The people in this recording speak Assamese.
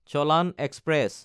চলান এক্সপ্ৰেছ